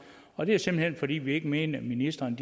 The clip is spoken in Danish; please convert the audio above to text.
og det er simpelt hen fordi vi ikke mener at ministrene